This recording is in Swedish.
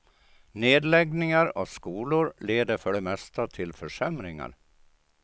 Nedläggningar av skolor leder för det mesta till försämringar.